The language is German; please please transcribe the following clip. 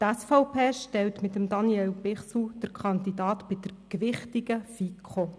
Die SVP stellt mit Daniel Bichsel den Kandidaten für die gewichtige FiKo.